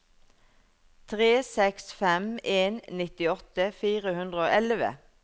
tre seks fem en nittiåtte fire hundre og elleve